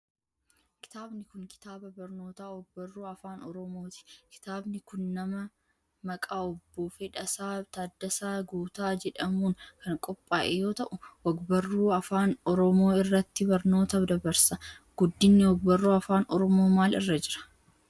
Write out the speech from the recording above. Kitaabni kun, kitaaba barnootaa og barruu afaan oromooti. Kitaabni kun nama maqaa Obbo Fedhasaa Taaddasaa Guutaa jedhamuun kan qophaa'e yoo ta'u, og-barruu afaan Oromoo irratti barnoota dabarsa. Guddinni og-barruu afaan Oromoo maal irra jira?